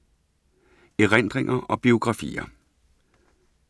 Erindringer og biografier